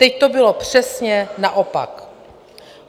Teď to bylo přesně naopak.